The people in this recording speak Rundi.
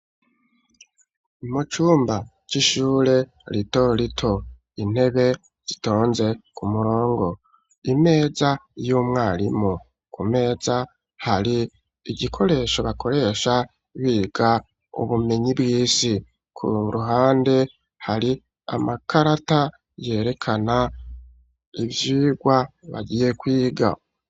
Mu cumba c'ishure rito rito intebe zitonze ku murongo imeza y'umwarimu ku meza hari igikoresho bakoresha biga ubumenyi bw'isi ku ruhande hari amakarata yerekana ivyigwa bagiye kwiga.